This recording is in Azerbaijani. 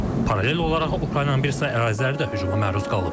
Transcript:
Paralel olaraq Ukraynanın bir sıra əraziləri də hücuma məruz qalıb.